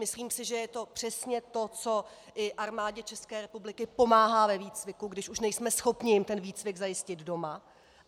Myslím si, že je to přesně to, co i Armádě České republiky pomáhá ve výcviku, když už nejsme schopni jim ten výcvik zajistit doma.